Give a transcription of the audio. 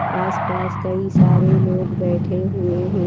आस-पास कई सारे लोग बैठे हुए हैं।